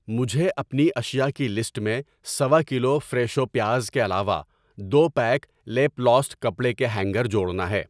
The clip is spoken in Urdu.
مجھے اپنی اشیاء کی لسٹ میں سَوا کلو فریشو پیاز کے علاوہ دو پیک لیپلاسٹ کپڑے کے ہینگر جوڑنا ہے۔